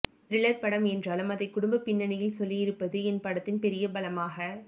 thriller படம் என்றாலும் அதை குடும்ப பின்னணியில் சொல்லியிருப்பது என் படத்தின் பெரிய பலமாக